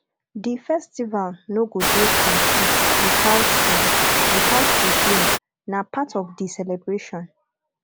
di festival no go dey complete witout di witout di game na part of di celebration